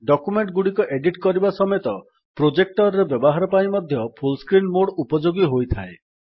document ଗୁଡିକ edit କରିବା ସମେତ ପ୍ରୋଜେକ୍ଟର୍ ରେ ବ୍ୟବହାର ପାଇଁ ମଧ୍ୟ ଫୁଲ୍ ସ୍କ୍ରିନ୍ ମୋଡ୍ ଉପଯୋଗୀ ହୋଇଥାଏ